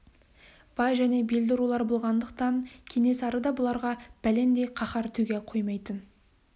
бай және белді рулар болғандықтан кенесары да бұларға бәлендей қаһар төге қоймайтын